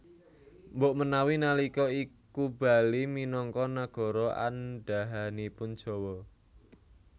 Mbok menawi nalika iku Bali minangka nagara andhahanipun Jawa